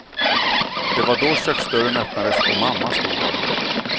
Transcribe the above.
Det var då köksdörren öppnades och mamma stod där.